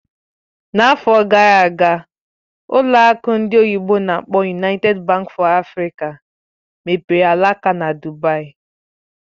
N'afọ gara aga, ụlọ akụ ndị oyibo n'akpọ "United Bank for Africa mepere alaka na Dubaì